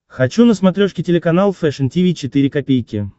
хочу на смотрешке телеканал фэшн ти ви четыре ка